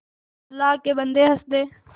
अल्लाह के बन्दे हंसदे